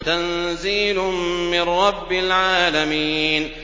تَنزِيلٌ مِّن رَّبِّ الْعَالَمِينَ